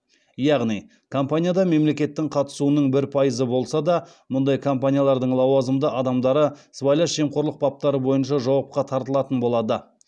яғни компанияда мемлекеттің қатысуының бір пайызы болса да мұндай компаниялардың лауазымды адамдары сыбайлас жемқорлық баптары бойынша жауапқа тартылатын болады